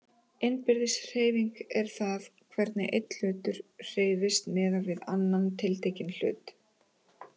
Innbyrðis hreyfing er það hvernig einn hlutur hreyfist miðað við annan tiltekinn hlut.